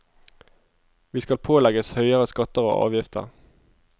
Vi skal pålegges høyere skatter og avgifter.